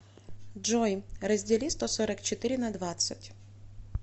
джой раздели сто сорок четыре на двадцать